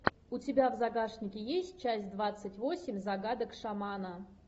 у тебя в загашнике есть часть двадцать восемь загадок шамана